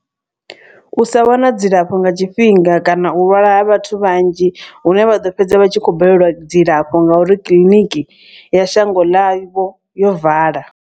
U sa wana dzilafho nga tshifhinga kana u lwala ha vhathu vhanzhi. Hune vha ḓo fhedza vha tshi khou balelwa dzilafho ngauri kiḽiniki ya shango ḽa vho yo vala.